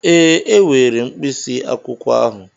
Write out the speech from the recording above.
Ee, m were mkpịsị akwụkwọ ahụ.